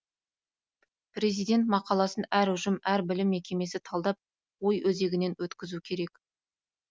президент мақаласын әр ұжым әр білім мекемесі талдап ой өзегінен өткізуі керек